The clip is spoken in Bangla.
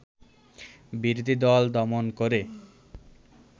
বিরোধী দল দমন করে